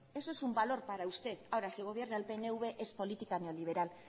eso es un valor para usted ahora si gobierna el pnv es política neoliberal